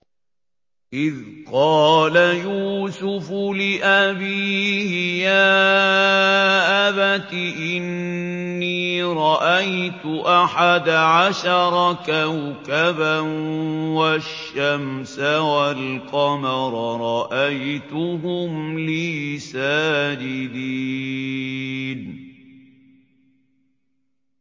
إِذْ قَالَ يُوسُفُ لِأَبِيهِ يَا أَبَتِ إِنِّي رَأَيْتُ أَحَدَ عَشَرَ كَوْكَبًا وَالشَّمْسَ وَالْقَمَرَ رَأَيْتُهُمْ لِي سَاجِدِينَ